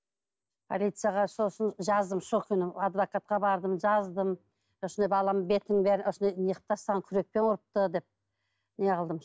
полицияға сосын жаздым сол күні адвокатқа бардым жаздым осындай баламның бетін осындай не қылып тастаған осындай күрекпен ұрыпты деп не қылдым